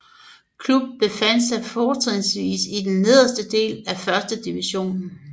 Klubben befandt sig fortrinsvist i den nederste del af 1 divisionen